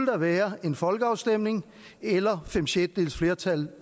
være en folkeafstemning eller fem sjettedeles flertal